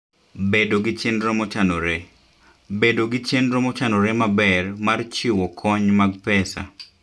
Bedo gi Chenro Mochanore: Bedo gi chenro mochanore maber mar chiwo kony mag pesa.